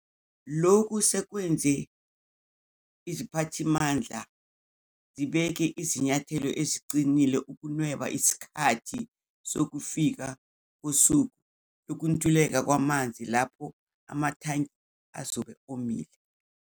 Lokhu sekwenze iziphathimandla zibeke izinyathelo eziqinile ukunweba isikhathi sokufika kosuku lokuntuleka kwamanzi, lapho amathangi azobe omile.